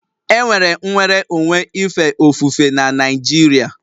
Enwere nnwere onwe ife ofufe na Naịjirịa